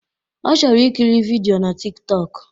Ọ chọrọ ikiri vidịo na Tik tọk